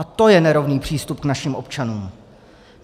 A to je nerovný přístup k našim občanům!